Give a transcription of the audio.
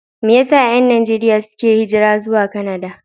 Me yasa 'yan Najeriya ke yin hijira zuwa Kanada?